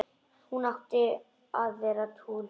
Hún átti að vera túlkur.